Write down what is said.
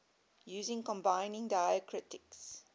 using combining diacritics